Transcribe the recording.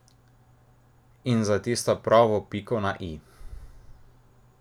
In za tisto pravo piko na i!